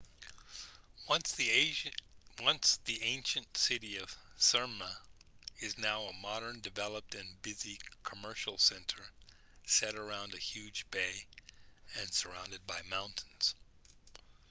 once the ancient city of smyrna it is now a modern developed and busy commercial center set around a huge bay and surrounded by mountains